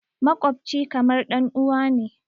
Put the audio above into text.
Maƙwabci kamar ɗanuwa ne.